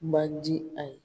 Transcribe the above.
Man di a ye.